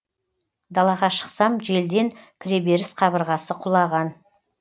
далаға шықсам желден кіреберіс қабырғасы құлаған